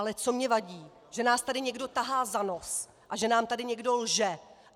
Ale co mně vadí, že nás tady někdo tahá za nos a že nám tady někdo lže.